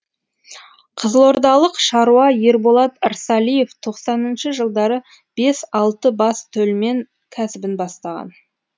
қызылордалық шаруа ерболат ырсалиев тоқсаныншы жылдары бес алты бас төлмен кәсібін бастаған